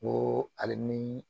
N ko hali ni